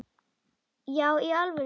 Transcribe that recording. Já í alvöru, sagði hún.